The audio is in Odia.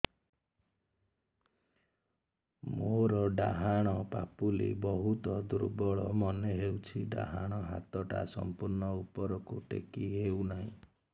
ମୋର ଡାହାଣ ପାଖ ବହୁତ ଦୁର୍ବଳ ମନେ ହେଉଛି ଡାହାଣ ହାତଟା ସମ୍ପୂର୍ଣ ଉପରକୁ ଟେକି ହେଉନାହିଁ